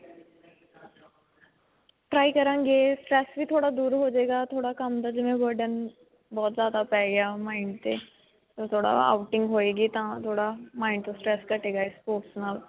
try ਕਰਾਂਗੇ. stress ਵੀ ਦੂਰ ਹੋਜੇਗਾ ਥੋੜਾ ਕੰਮ ਦਾ, ਜਿਵੇਂ ਕੰਮ ਦਾ burden ਬਹੁਤ ਜਿਆਦਾ ਪੈ ਗਿਆ mind ਤੇ ਥੋੜਾ outing ਹੋਏਗੀ ਤਾਂ ਥੋੜਾ mind ਤੋਂ stress ਘਟੇਗਾ sports ਨਾਲ.